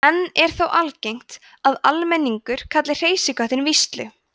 enn er þó algengt að almenningur kalli hreysiköttinn víslu